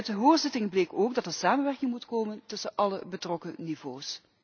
Uit de hoorzitting bleek ook dat er samenwerking moet komen tussen alle betrokken niveaus.